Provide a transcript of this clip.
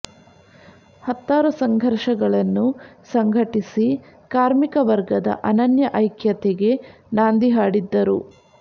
ಹತ್ತಾರು ಸಂಘರ್ಷಗಳನ್ನು ಸಂಘಟಿಸಿ ಕಾರ್ಮಿಕ ವರ್ಗದ ಅನನ್ಯ ಐಕ್ಯತೆಗೆ ನಾಂದಿ ಹಾಡಿದ್ದರು